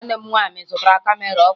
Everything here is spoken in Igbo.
Nwanne m nwaanyị zụtara kamera ọhụrụ